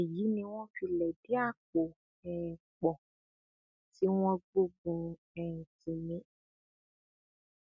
èyí ni wọn fi lẹdí àpò um pọ tí wọn gbógun um tì mí